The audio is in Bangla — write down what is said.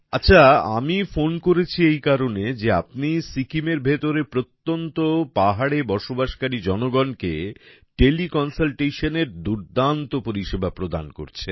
আচ্ছা আমি ফোন করেছি এই কারণে যে আপনি সিকিমের ভেতরে প্রত্যন্ত পাহাড়ে থেকে বসবাসকারী জনগণকে টেলিকনসালটেশনের দুর্দান্ত পরিষেবা প্রদান করছেন